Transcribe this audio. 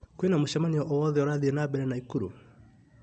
Kwĩna mũcemanio o wothe ũrathiĩ na mbere Naĩkurũ?